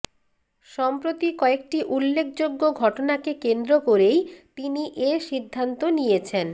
সম্প্রতি কয়েকটি উল্লেখযোগ্য ঘটনাকে কেন্দ্র করেই তিনি এ সিদ্ধান্ত নিয়েছেন